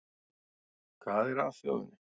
Hvað er að þjóðinni